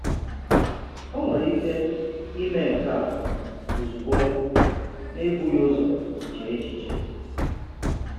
Ó nwere ike ímè nke a ozugbo n’ebughì ụzọ chée echiche.